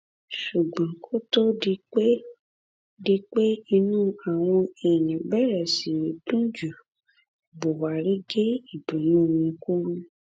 ṣùgbọn kó tó di pé di pé inú àwọn èèyàn bẹrẹ sí í dùn jù buhari gé ìdùnnú wọn kúrú